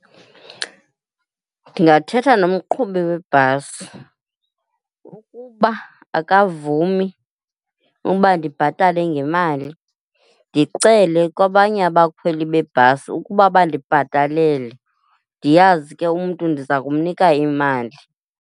Ndingathetha nomqhubi webhasi. Ukuba akavumi ukuba ndibhatale ngemali, ndicele kwabanye abakhweli bebhasi ukuba bandibhatalele ndiyazi ke umntu ndiza kumnika imali.